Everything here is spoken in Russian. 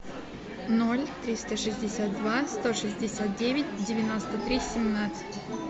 ноль триста шестьдесят два сто шестьдесят девять девяносто три семнадцать